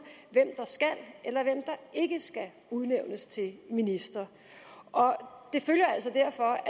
hvem der skal eller ikke skal udnævnes til minister og det følger altså derfor